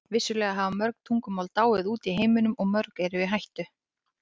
Vissulega hafa mörg tungumál dáið út í heiminum og mörg eru í hættu.